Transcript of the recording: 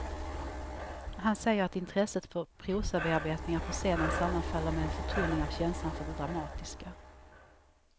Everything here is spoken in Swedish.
Han säger att intresset för prosabearbetningar på scenen sammanfaller med en förtunning av känslan för det dramatiska.